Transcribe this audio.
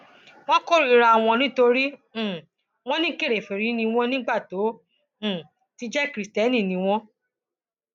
wọn kórìíra wọn nítorí um wọn ní kèrèfèrí ni wọn nígbà tó um ti jẹ kristẹni ni wọn